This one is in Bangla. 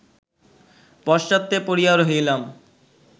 পশ্চাতে পড়িয়া রহিলাম